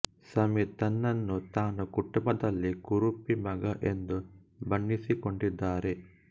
ಸಮೀರ್ ತನ್ನನ್ನು ತಾನು ಕುಟುಂಬದಲ್ಲಿ ಕುರೂಪಿ ಮಗು ಎಂದು ಬಣ್ಣಿಸಿಕೊಂಡಿದ್ದಾರೆ